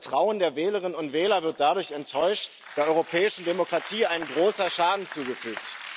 Das Vertrauen der Wählerinnen und Wähler wird dadurch enttäuscht, der europäischen Demokratie ein großer Schaden zugefügt.